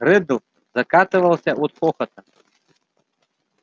реддл закатывался от хохота